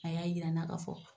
A y'a yira n'a ka fɔ